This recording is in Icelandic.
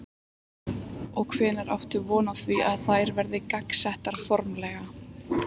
Og hvenær áttu von á því að þær verði gangsettar formlega?